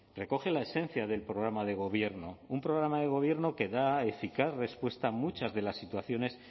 recoge la esencia del programa de gobierno un programa de gobierno que da eficaz respuesta a muchas de las situaciones